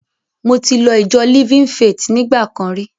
Mo ti lọ ìjọ Living Faith nígbà kan rí.